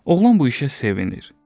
Oğlan bu işə sevinir.